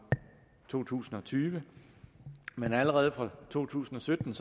to tusind og tyve men allerede fra to tusind og sytten